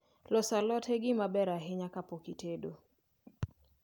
Loso alot e gima ber ahinya kapok itedo